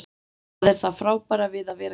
Það er það frábæra við að vera hér.